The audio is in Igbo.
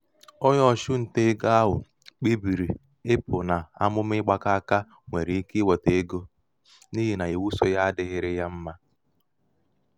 onye ̣ọchụ nta egō ahụ̀ kpebìrì ịpụ̀ n’amụ̀mà ịgbakọ aka nwere ike iwètè egō n’ihì nà ìwu sō yā adị̄ghị̄rị̄ yā mmā.